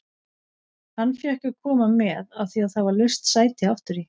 Hann fékk að koma með af því að það var laust sæti aftur í.